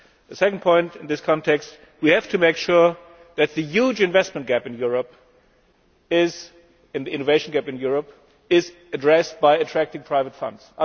The second point in this context is that we have to make sure that the huge investment and innovation gap in Europe is addressed by attracting private funds.